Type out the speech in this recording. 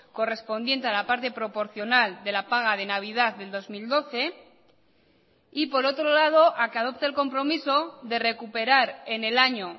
correspondiente a la parte proporcional de la paga de navidad del dos mil doce y por otro lado a que adopte el compromiso de recuperar en el año